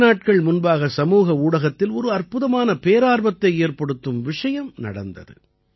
சில நாட்கள் முன்பாக சமூக ஊடகத்தில் ஒரு அற்புதமான பேரார்வத்தை ஏற்படுத்தும் விஷயம் நடந்தது